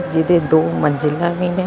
ਜਿਦੇ ਦੋ ਮੰਜਿਲਾਂ ਵੀ ਨੇ।